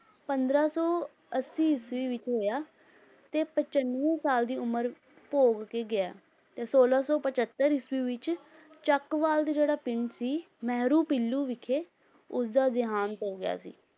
ਪੰਦਰਾਂ ਸੌ ਅੱਸੀ ਈਸਵੀ ਵਿੱਚ ਹੋਇਆ ਤੇ ਪਚੰਨਵੇਂ ਸਾਲ ਦੀ ਉਮਰ ਭੋਗ ਕੇ ਗਿਆ ਹੈ, ਤੇ ਛੋਲਾਂ ਸੌ ਪਜੱਤਰ ਈਸਵੀ ਵਿੱਚ ਚੱਕਵਾਲ ਦੇ ਜਿਹੜਾ ਪਿੰਡ ਸੀ, ਮਿਹਰੂ ਪੀਲੂ ਵਿਖੇ ਉਸਦਾ ਦਿਹਾਂਤ ਹੋ ਗਿਆ ਸੀ।